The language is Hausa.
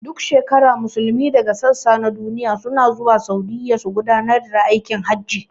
Duk shekara Musulmai daga sassa na duniya suna zuwa Saudiya su gudanar da aikin hajji